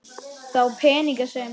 Þá peninga sem